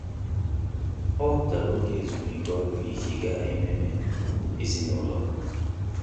Ọ́ wèpụ̀tárà oge ezumike ọ́rụ́ iji gàá ememe ezinụlọ.